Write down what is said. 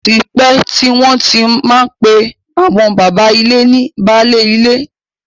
Ó ti pẹ́ tí wọ́n ti má ń pè àwọn bàbá ilé ní baálé ilé.